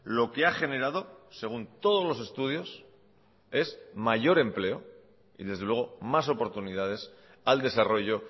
lo que ha generado según todos los estudios es mayor empleo y desde luego más oportunidades al desarrollo